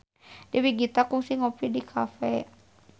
Dewi Gita kungsi ngopi di cafe